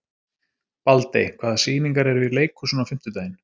Baldey, hvaða sýningar eru í leikhúsinu á fimmtudaginn?